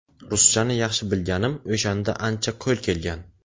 Ruschani yaxshi bilganim o‘shanda ancha qo‘l kelgan.